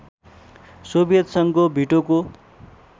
Soviet सङ्घको भिटोको